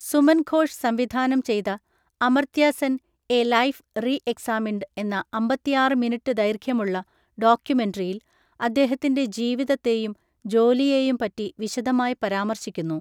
സുമൻ ഘോഷ് സംവിധാനം ചെയ്ത 'Amartya Sen, a life re examined' എന്ന അമ്പത്തിആറ് മിനിറ്റ് ദൈർഘ്യമുള്ള ഡോക്യുമെൻട്രിയിൽ അദ്ദേഹത്തിൻ്റെ ജീവിതത്തെയും ജോലിയെയും പറ്റി വിശദമായി പരാമർശിക്കുന്നു.